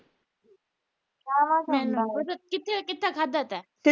ਕਿੱਥੇ ਖਾਦਾ ਤੈ